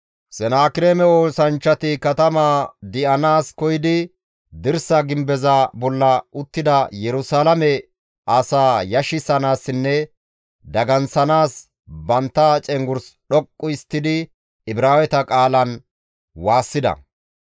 Senaakireeme oosanchchati katamaa di7anaas koyidi dirsa gimbeza bolla uttida Yerusalaame asaa yashissanaassinne daganththanaas bantta cenggurs dhoqqu histtidi Ibraaweta qaalan waassida.